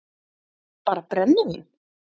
PÁLL: Bara brennivín!